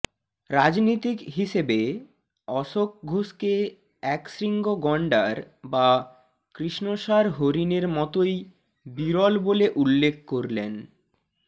রাজনীতিক হিসেবে অশোক ঘোষকে একশৃঙ্গ গণ্ডার বা কৃষ্ণসার হরিণের মতোই বিরল বলে উল্লেখ করলেন